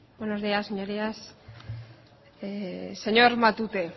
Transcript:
buenos días señorías señor matute